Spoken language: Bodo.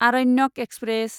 आरण्यक एक्सप्रेस